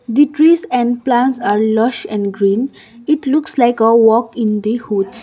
the trees and plants are lush and green it looks like a walk in the hoods.